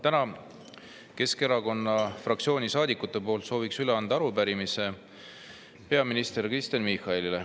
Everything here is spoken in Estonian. Täna sooviks Keskerakonna fraktsiooni saadikute poolt üle anda arupärimise peaminister Kristen Michalile.